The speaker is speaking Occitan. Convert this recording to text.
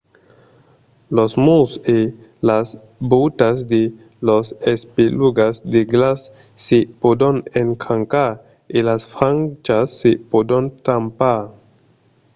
los murs e las vòutas de las espelugas de glaç se pòdon escrancar e las frachas se pòdon tampar